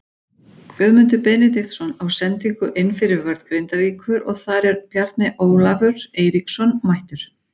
Guðmundur Benediktsson á sendingu inn fyrir vörn Grindavíkur og þar er Bjarni Ólafur Eiríksson mættur.